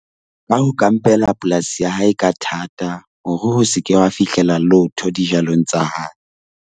Ka ho kampela polasi ya hae ka thata hore ho se ke ha fihlela lotho dijalong tsa hae.